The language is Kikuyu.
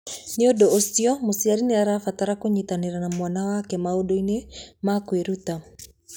Nĩ ũndũ ũcio, mũciari nĩ abataraga kũnyitanĩra na mwana wake maũndũ-inĩ ma kwĩruta.